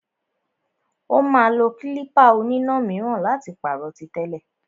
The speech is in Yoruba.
Ó máa lo klípà oníná míràn láti pàrọ̀ tí tẹ́lẹ̀.